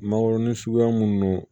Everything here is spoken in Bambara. Mangoron suguya minnu